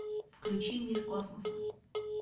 включи мир космоса